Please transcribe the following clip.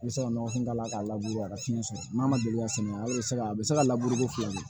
N bɛ se ka nɔgɔ kun d'a la k'a labure a ka kin sɔrɔ n'a ma deli ka sɛngɛ a bɛ se ka a bɛ se ka labureko fila ɲɛ